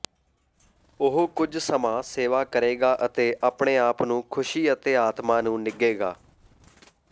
ਉਹ ਕੁਝ ਸਮਾਂ ਸੇਵਾ ਕਰੇਗਾ ਅਤੇ ਆਪਣੇ ਆਪ ਨੂੰ ਖੁਸ਼ੀ ਅਤੇ ਆਤਮਾ ਨੂੰ ਨਿੱਘੇਗਾ